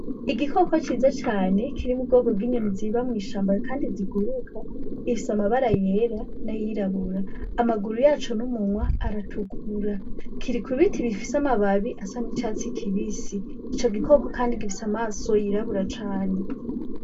Igikoko ciza cane kiri mu bwoko bw'inyoni ziba mw'ishamba kandi ziguruka, gifise amabara yera n'ayirabura. Amaguru yaco n'umunwa aratukura, kiri ku biti bifise amababi asa n'icatsi kibisi . Ico gikoko gifise kandi amaso yirabura cane.